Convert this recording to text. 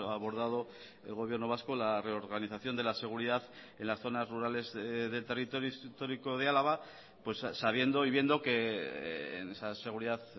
ha abordado el gobierno vasco la reorganización de la seguridad en las zonas rurales del territorio histórico de álava pues sabiendo y viendo que en esa seguridad